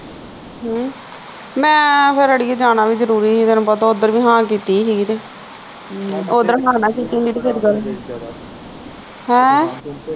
ਹਮ ਮੈਂ ਫਿਰ ਅੜੀਏ ਜਾਣਾ ਵੀ ਜਰੂਰੀ ਹੀ ਤੈਨੂੰ ਪਤਾ ਉਧਰ ਵੀ ਹਾਂ ਕੀਤੀ ਹੀ ਗੀ ਤੇ ਹਮ ਉਧਰ ਹਾਂ ਨਾ ਕੀਤੀ ਹੁੰਦੀ ਫਿਰ ਗੱਲ ਹੈ